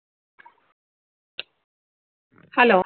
hello